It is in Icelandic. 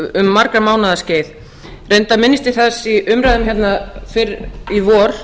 um margra mánaða skeið reyndar minnist ég þess í umræðum hérna fyrr í vor